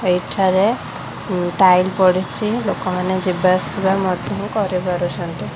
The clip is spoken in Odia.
ଏଠାରେ ଟାଇଲ ପଡ଼ିଚି ଲୋକମାନେ ଯିବା ଆସିବା ମଧ୍ୟ କରି ପାରୁଛନ୍ତି।